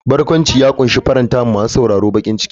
Barkwanci ya kunshi faranta wa masu sauraro farin ciki.